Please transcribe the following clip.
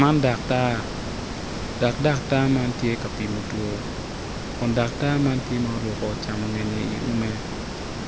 Man daktar tudo nam macol tar coltar doge bor, atudo man tye ka wakwan i pii mandit atudo ni dong owakngo ook i